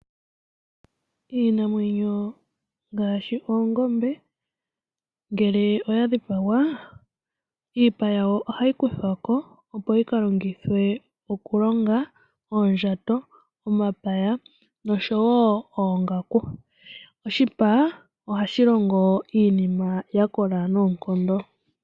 Iinamwenyo ngaashi oongombe ngele oya dhipagwa , iipa yawo ohayi kuthwa ko opo yi ka longithwe okulongwa oondjato, omapaya noshowoo oongaku. Oshipa ohashi longo iinima ya kola noonkondo.